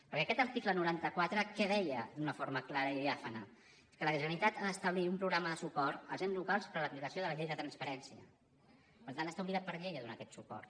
perquè aquest article noranta quatre què deia d’una forma clara i diàfana és que la generalitat ha d’establir un programa de suport als ens locals per a l’aplicació de la llei de transparència per tant està obligat per llei a donar aquest suport